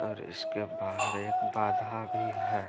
और इसके बाहर एक बाधा भी है।